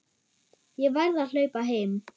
Ég verð að hlaupa heim.